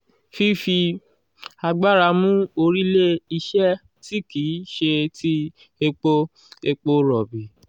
fífi agbára mú orílé-iṣẹ́ tí kì í ṣe ti epo epo rọ̀bì